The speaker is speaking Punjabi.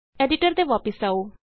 ਐਡੀਟਰ ਤੇ ਵਾਪਸ ਆਉ